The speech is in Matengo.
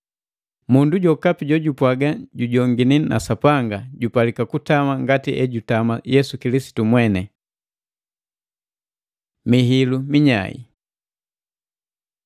Mundu jokapi jojupwaga jujongini na Sapanga jupalika kutama ngati ejutama Yesu Kilisitu mweni. Mihilu minyai